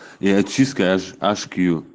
и очистка аш кью